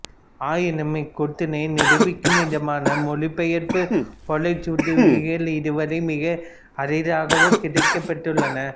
ஆயினும் இக்கூற்றினை நிரூபிக்கும் விதமான மொழிபெயர்ப்பு ஓலைச்சுவடிகள் இதுவரை மிக அரிதாகவே கிடைக்கப்பெற்றுள்ளன